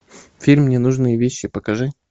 фильм ненужные вещи покажи